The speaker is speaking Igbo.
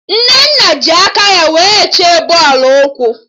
Nnenna ji aka ya wee chee bọọlụ ụkwụ